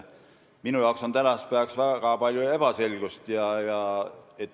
Minu arvates on tänasel päeval väga palju ebaselgust.